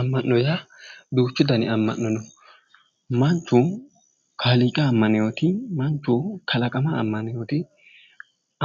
Amma'no yaa duuchu dani amma'no no manchu kaaliiqa ammaneyoti manchu kalaqama ammaneyoti